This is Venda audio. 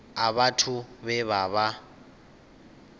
a vhathu vhe vha vha